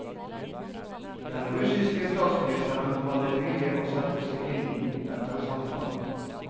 Den russiske statsministeren hadde mye å sette seg inn i etter samtalene.